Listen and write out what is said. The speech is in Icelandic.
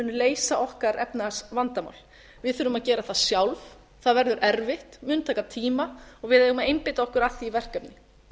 leysa okkar efnahagsvandamál við þurfum að gera það sjálf það verður erfitt mun taka tíma og við eigum að einbeita okkur að því verkefni